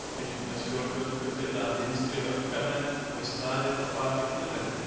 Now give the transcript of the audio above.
Tyrknesk stjórnvöld fullyrða að vinstriöfgamenn hafi staðið á bak við tilræðið.